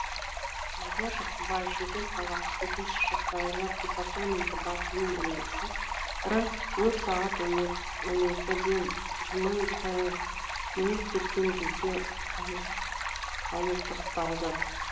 мадияр жақсыбаев шымкент қаласы төтенше жағдайлар департаменті бастығының орынбасары өрт сағат он екіден жиырма минут кеткен кезде ауыздықталды